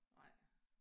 Nej